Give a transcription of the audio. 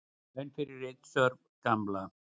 Laun fyrir ritstörf Gamla.